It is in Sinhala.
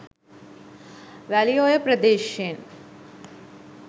වැලිඔය ප්‍රදේශයෙන්